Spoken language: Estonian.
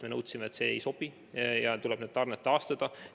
Me teatasime, et see ei sobi, ja nõudsime, et tarned tuleb taastada.